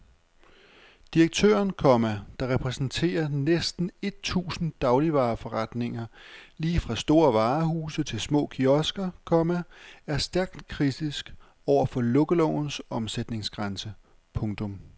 Direktøren, komma der repræsenterer næsten et tusind dagligvareforretninger lige fra store varehuse til små kiosker, komma er stærkt kritisk over for lukkelovens omsætningsgrænse. punktum